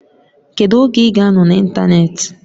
Kedu oge ị ga-anọ n'ịntanetị?